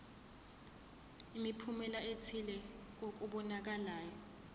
imiphumela ethile kokubonakalayo